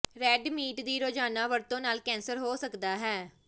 red meat ਦੀ ਰੋਜ਼ਾਨਾ ਵਰਤੋਂ ਨਾਲ ਕੈਂਸਰ ਹੋ ਸਕਦਾ ਹੈ